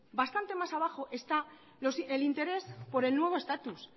bastante más abajo está el interés por el nuevo estatus